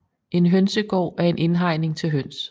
En hønsegård er en indhegning til høns